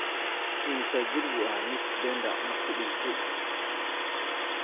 immisa jir buu ahaa nick denda markuu dhintay